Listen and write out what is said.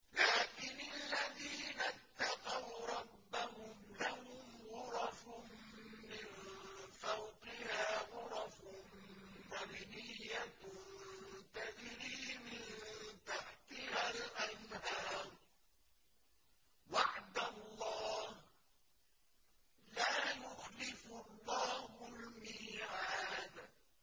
لَٰكِنِ الَّذِينَ اتَّقَوْا رَبَّهُمْ لَهُمْ غُرَفٌ مِّن فَوْقِهَا غُرَفٌ مَّبْنِيَّةٌ تَجْرِي مِن تَحْتِهَا الْأَنْهَارُ ۖ وَعْدَ اللَّهِ ۖ لَا يُخْلِفُ اللَّهُ الْمِيعَادَ